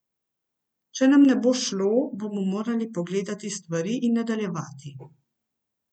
Če nam ne bo šlo, bomo morali pogledati stvari in nadaljevati.